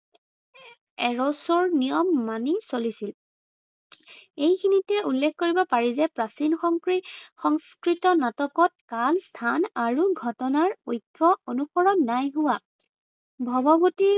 Errors ৰ নিয়ম মানি চলিছিল। এইখিনিতে উল্লেখ কৰিব পাৰি যে প্ৰাচীন সংস্কৃতৰ নাটকত কাল, স্থান আৰু ঘটনাৰ ঐক্য় অনুসৰণ নাই হোৱা। ভগৱতী